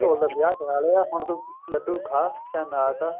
ਢੋਲ ਦਾ ਵਿਆਹ ਕਰਾਲਿਆ ਹੁਣ ਤੂੰ ਲੱਡੂ ਖਾ ਚਾਹੇ ਨਾ ਖਾ